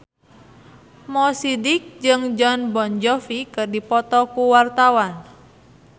Mo Sidik jeung Jon Bon Jovi keur dipoto ku wartawan